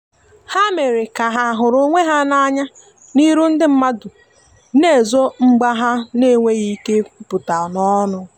ha mere ka ha huru onwe ha na anya n'iru ndi madu na ezo mgba ha n enweghi ike ikwuputa n'onu